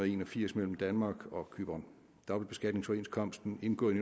en og firs mellem danmark og cypern dobbeltbeskatningsoverenskomsten indgået